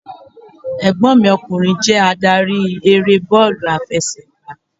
Ẹ̀gbọ́n mi ọkùnrin jé adarí eré bọ́ọ̀lù àfẹsẹ̀gbá